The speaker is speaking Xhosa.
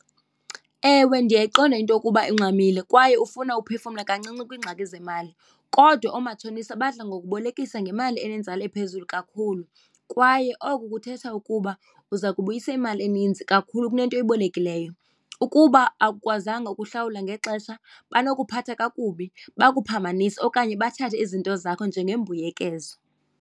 Ewe, ndiyayiqonda into yokuba ungxamile kwaye ufuna uphefumla kancinci kwiingxaki zemali kodwa oomatshonisa badla ngokubolekiswa ngemali enenzala ephezulu kakhulu kwaye oku kuthetha ukuba uza kubuyisa imali eninzi kakhulu kunento ebalulekileyo. Ukuba awukwazanga ukuhlawula ngexesha banokuphatha kakubi bakuphambanise okanye bathathe izinto zakho njengembuyekezo.